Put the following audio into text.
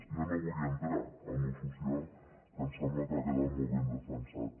jo no vull entrar en allò social que em sembla que ha quedat molt ben defensat